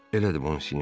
Elədir, Monsinyor.